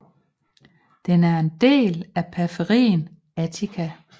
Den er en del af periferien Attica